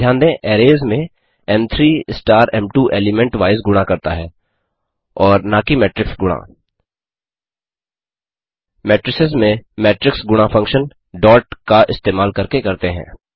ध्यान दें अरैज में एम3 स्टार एम2 एलीमेंट वाइज़ गुणा करता है और न कि मेट्रिक्स गुणा मेट्रिसेस में मेट्रिक्स गुणा फंक्शन dot का इस्तेमाल करके करते हैं